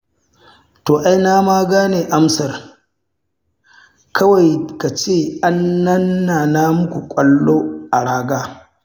To ai na ma gane amsar, kawai ka ce an nana muku ƙwallo a raga.